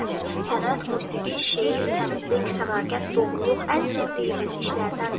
Sənət, musiqi, şeir, təmizlik, sədaqət, doğruluq ən sevdiyimiz işlərdəndir.